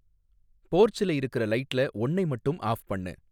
போர்ச்ல இருக்குற லைட்டுல ஒன்னை மட்டும் ஆஃப் பண்ணு